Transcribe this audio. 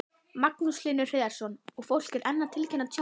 Magnús Hlynur Hreiðarsson: Og fólk er enn að tilkynna tjón?